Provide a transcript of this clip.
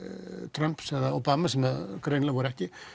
Trumps eða Obama sem greinilega voru ekki